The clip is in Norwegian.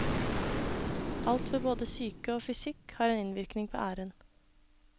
Alt ved både psyke og fysikk har en innvirkning på æren.